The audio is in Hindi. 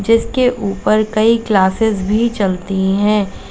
जिसके ऊपर कई क्लासेस भी चलती हैं।